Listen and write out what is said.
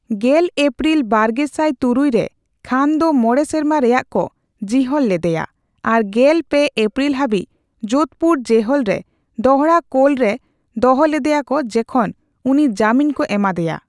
ᱜᱮᱞ ᱮᱯᱯᱨᱤᱞ ᱵᱟᱨᱜᱮᱥᱟᱭ ᱛᱩᱨᱩᱭ ᱨᱮ, ᱠᱷᱟᱱ ᱫᱚ ᱢᱚᱬᱮ ᱥᱮᱨᱢᱟ ᱨᱮᱭᱟᱜ ᱠᱚ ᱡᱤᱦᱚᱞ ᱞᱮᱫᱮᱭᱟ ᱟᱨ ᱜᱮᱞ ᱯᱮ ᱮᱯᱯᱨᱤᱞ ᱦᱟᱹᱵᱤᱡᱽ ᱡᱳᱫᱷᱯᱩᱨ ᱡᱮᱦᱚᱞ ᱨᱮ ᱫᱚᱲᱦᱟ ᱠᱳᱞ ᱨᱮ ᱫᱚᱦᱚ ᱞᱮᱫᱮᱭᱟᱠᱚ ᱡᱮᱠᱷᱚᱱ ᱩᱱᱤ ᱡᱟᱹᱢᱤᱱ ᱠᱚ ᱮᱢᱟᱫᱮᱭᱟ ᱾